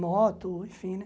Moto, enfim, né?